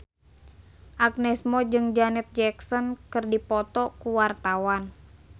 Agnes Mo jeung Janet Jackson keur dipoto ku wartawan